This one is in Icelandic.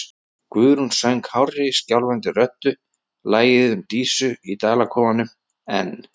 Guðrún söng hárri, skjálfandi röddu lagið um Dísu í Dalakofanum, en